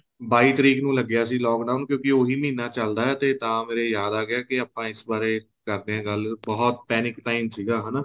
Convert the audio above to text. ਬਾਈ ਤਰੀਕ ਨੂੰ ਲਗਿਆ ਸੀ lock down ਕਿਉਂਕਿ ਉਹੀ ਮਹੀਨਾ ਚੱਲਦਾ ਏ ਤੇ ਮੇਰੇ ਯਾਦ ਆ ਗਿਆ ਕੇ ਆਪਾਂ ਇਸ ਬਾਰੇ ਕਰਦੇ ਹਾਂ ਗੱਲ ਬਹੁਤ panic time ਸੀਗਾ ਹਨਾ